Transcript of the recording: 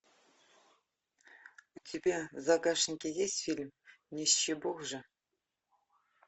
у тебя в загашнике есть фильм нищебог же